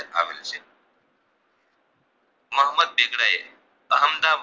મોહમ્મદ બેગડાએ અહમદા